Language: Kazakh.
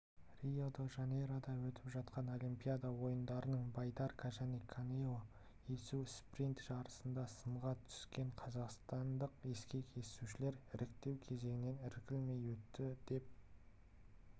рио-де-жанейрода өтіп жатқан олимпиада ойындарының байдарка және каноэ есу спринт жарысында сынға түскен қазақстандық ескек есушілер іріктеу кезеңінен іркілмей өтті деп